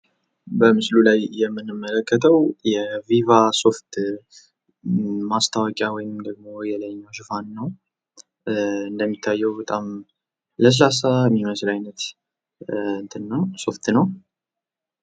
በምስሉ ላይ የምትመለከቱት የቪቫ ሶፍት ማስታወቂያ ወይም የላይኛው ሽፋን ነው፤ በጣም ለስላሳ ሶፍት ነው።